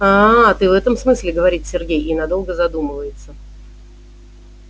аа ты в этом смысле говорит сергей и надолго задумывается